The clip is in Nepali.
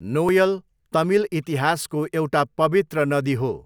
नोयल तमिल इतिहासको एउटा पवित्र नदी हो।